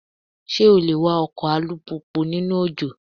Ṣé o le wa ọkọ̀ alùpùpù nínú òjò?